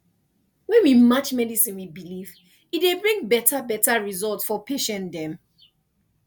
when we match medicine with belief e dey bring beta beta result for patient dem